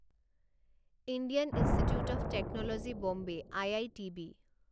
Indian Institute of Technology Bombay I I T B